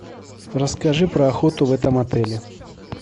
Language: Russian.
расскажи про охоту в этом отеле